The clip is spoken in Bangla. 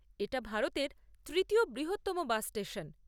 এটা ভারতের তৃতীয় বৃহত্তম বাস স্টেশন।